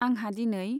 आंहा दिनै।